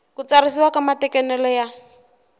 ku tsarisiwa ka matekanelo ya